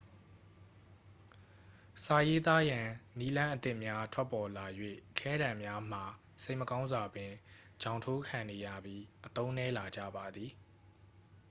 စာရေးသားရန် နည်းလမ်းအသစ်များ ထွက်ပေါ်လာ၍ ခဲတံများမှာ စိတ်မကောင်းစွာပင် ချောင်ထိုးခံနေရပြီး အသုံးနည်းလာကြပါသည်